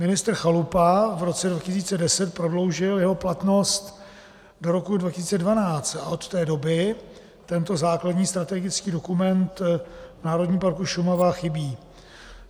Ministr Chalupa v roce 2010 prodloužil jeho platnost do roku 2012 a od té doby tento základní strategický dokument v Národním parku Šumava chybí.